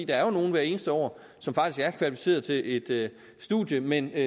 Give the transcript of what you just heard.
er jo nogle hvert eneste år som faktisk er kvalificerede til et studium men